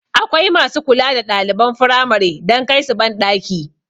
Akwai masu kula da ɗaliban firamare don kaisu banɗaki